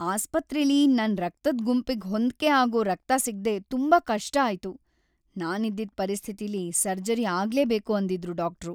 ಆಸ್ಪತ್ರೆಲಿ ನನ್ ರಕ್ತದ್ ಗುಂಪಿಗ್‌ ಹೊಂದ್ಕೆ ಆಗೋ ರಕ್ತ ಸಿಗ್ದೇ ತುಂಬಾ ಕಷ್ಟ ಆಯ್ತು. ನಾನಿದ್ದಿದ್‌ ಪರಿಸ್ಥಿತಿಲಿ ಸರ್ಜರಿ ಆಗ್ಲೇಬೇಕು ಅಂದಿದ್ರು ಡಾಕ್ಟ್ರು.